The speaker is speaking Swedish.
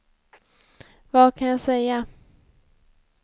vad kan jag säga